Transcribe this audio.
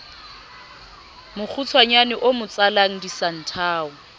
mokgutshwanyane o mo tsalang disanthao